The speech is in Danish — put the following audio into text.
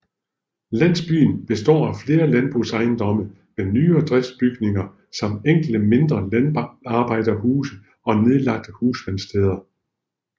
Landsbyen består af flere landbrugsejendomme med nyere driftsbygninger samt enkelte mindre landarbejderhuse og nedlagte husmandssteder